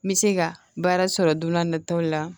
N bɛ se ka baara sɔrɔ don n'a nataw la